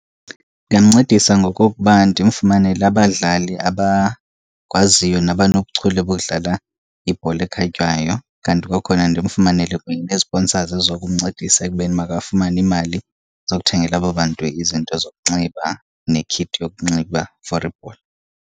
Ndingamncedisa ngokokuba ndimfumanele abadlali abakwaziyo nabanobuchule bodlala ibhola ekhatywayo. Kanti kwakhona ndimfumanele ne-sponsors ezizokumncedisa ekubeni makafumane iimali zokuthengela abo bantu izinto zokunxiba ne-kit yokunxiba for ibhola.